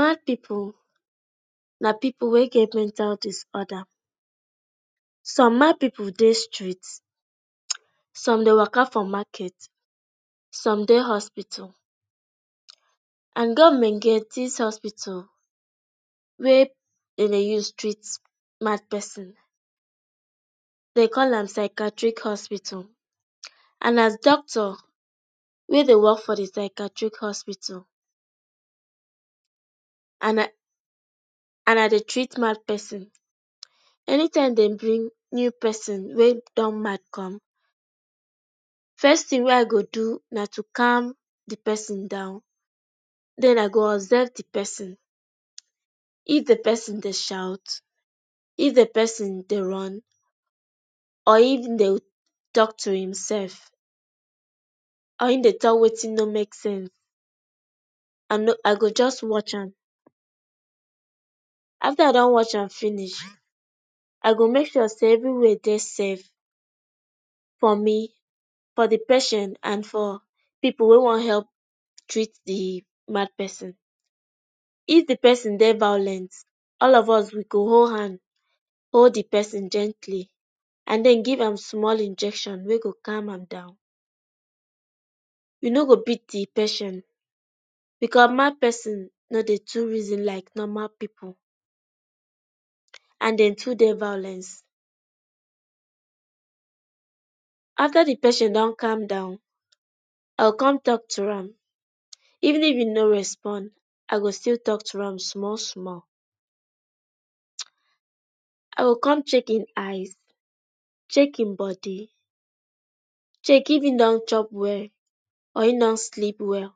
Mad pipu, na pipu wey get mental disorder. Some mad pipu dey street, some dey waka for market, some dey hospital and government get dis hospital wey dem dey use treat mad person, den dey call am psychiatric hospital. And as doctor wey dey work for di psychiatric hospital, and I, and I dey treat mad person. Anytime dem bring new person wey don mad come, first tin wey I go do na to calm di person down, den I go observe di person, if di person dey shout, if di person dey run or if im dey talk to himself or im dey talk wetin no make sense, I no, I go just watch am. After I don watch am finish, I go make sure sey everywhere dey safe for me, for di patient and for pipu wey wan help treat di mad person. If di person dey violent, all of us, we go hold hand, hold di person gently and den give am small injection wey go calm am down. You no go beat di patient because mad person no dey too reason like normal pipu and dem too dey violence. After di patient don calm down, I go kon talk to am, even if e no respond, I go still talk to am small small. I go kon check im eyes, check im body, check if im don chop well or im don sleep well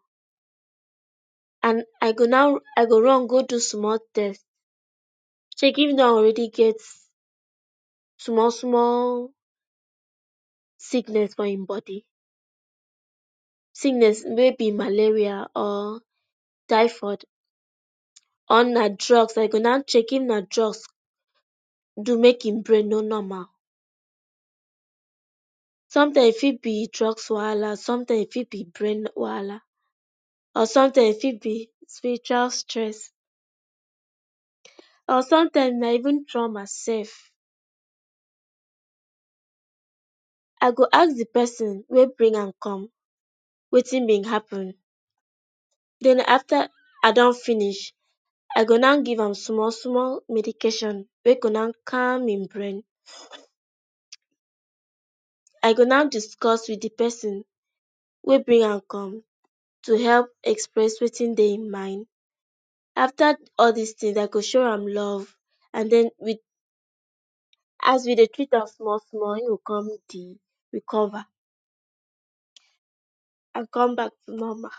and I go na, I go run go do small test, check if im don already get small small sickness for im body. Sickness wey be malaria or typhoid, or na drugs, I go na check if na drugs do mek im brain no normal. Sometime e fit be drugs wahala, sometime e fit be brain wahala or sometime e fit be spiritual stress or sometime na even trauma sef. I go ask di person wey bring am come wetin be happen, den, after I don finish, I go now give am small small medication wey go now calm im brain. I go na discuss wit di person wey bring am come to help express wetin dey im mind. After all dis tin, I go show am love and den wit, as we dey treat am small small e go kon di recover and come back to normal.